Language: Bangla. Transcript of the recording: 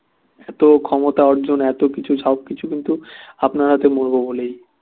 এতো ক্ষমতা অর্জন এতকিছু সবকিছু কিন্তু আপনার হাতে মরবো বলেই